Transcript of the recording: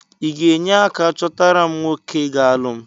Ị ga-enye aka chọtara m nwoke ga-alụ m?